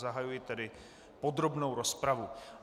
Zahajuji tedy podrobnou rozpravu.